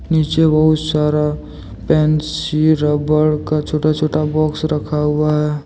नीचे बहुत सारा पेंसिल रबर का छोटा छोटा बॉक्स रखा हुआ है।